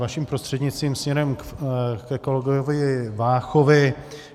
Vašim prostřednictvím směrem ke kolegovi Váchovi.